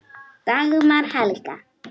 Dagmar Helga.